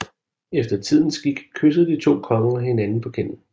Efter tidens skik kyssede de to konger hinanden på kinden